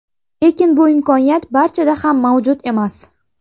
Lekin bu imkoniyat barchada ham mavjud emas.